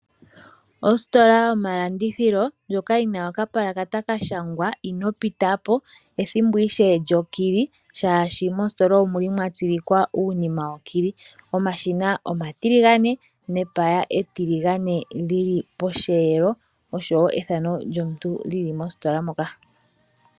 Ositola yomalanditjilo ndjoka yi na okapulakata ka shangwa ' Ino pita po', wethimbo ishewe lyokili shaashi mositola omuli mwa tsilikwa uunima wokili. Omashina omatiligane nepaya etiligane lyili posheelo oshowo epaya lyomuntu lili posheelo mpoka.